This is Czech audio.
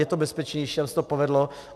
Je to bezpečnější, tam se to povedlo.